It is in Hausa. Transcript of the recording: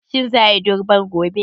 Shin za a yi durbar gobe?